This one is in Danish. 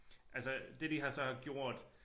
Altså det de har så har gjort